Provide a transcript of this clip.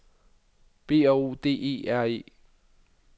B R O D E R E